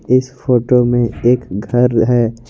इस फोटो में एक घर है।